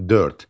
Dörd.